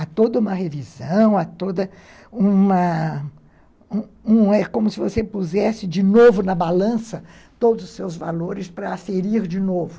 A toda uma revisão, a toda uma... Uma uma é como se você pusesse de novo na balança todos os seus valores para aferir de novo.